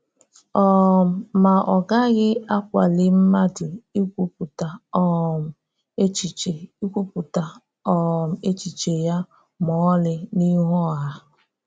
um Ma ọ gaghị akwalí mmadụ íkwupụta um echiche íkwupụta um echiche ya ma ọ́lị n’ihu ọ́ha.